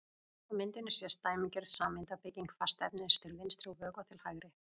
Á myndinni sést dæmigerð sameindabygging fastefnis til vinstri og vökva til hægri.